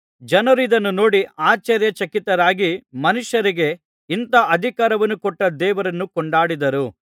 ಜನರು ಇದನ್ನು ನೋಡಿ ಆಶ್ಚರ್ಯಚಕಿತರಾಗಿ ಮನುಷ್ಯರಿಗೆ ಇಂಥ ಅಧಿಕಾರವನ್ನು ಕೊಟ್ಟ ದೇವರನ್ನು ಕೊಂಡಾಡಿದರು